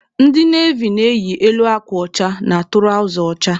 Ndị navy na-eyi elu akwa ọcha na tụrawza ọcha.